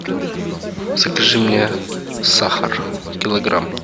закажи мне сахар килограмм